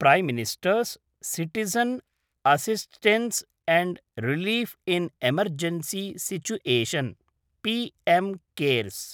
प्रै minister's citizen assistance and relief in emergency situation PM cares